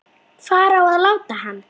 Hvar á að láta hann?